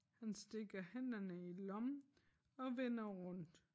Han stikker hænderne i lommen og vender rundt